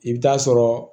I bɛ taa sɔrɔ